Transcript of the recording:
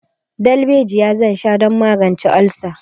Darbejiya zan sha don magance olsa.